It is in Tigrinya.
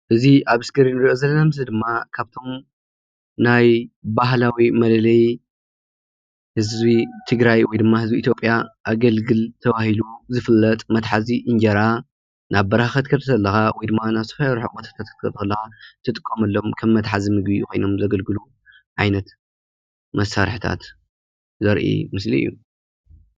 እዚ ኣብ እስክሪን ንርኦ ዘለና ምስሊ ድማ ካብቶም ናይ ባህላዊ መለለዪ ህዝቢ ትግራይ ወይድማ ህዝቢ ኢትዮጵያ ኣገልግል ተባሂሉ ዝፍለጥ መትሓዚ እንጀራ ናብ በረካ ክትከድ ከለካ ወይድማ ናብ ዝተፈላለዩ ርሑቕ ቦታታት ክትከድ ከለካ ትጥቀመሎም ከም መትሓዚ ምግቢ ኮይኖም ዘገልግሎ ዓይነት መሳርሒታት ዘርኢ ምስሊ እዩ።